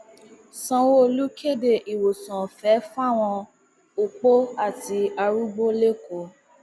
sanwóolu kéde ìwòsàn ọfẹ fáwọn opó àti arúgbó lẹkọọ